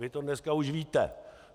Vy to dneska už víte.